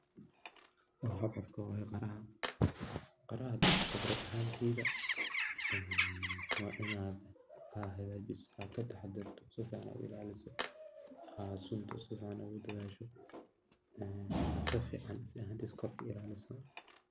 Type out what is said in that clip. Waa qaraha .Qaraha khibraad ahanteyda waa ina ilaliso oo kataha darto oo hagajiso aa sunta sifican ugu dhadasho si fican kor oga ilaliso.